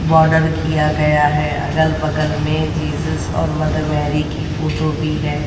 Border किया गया है अगल बगल में जीसस और मदर मैरी की फोटो भी है।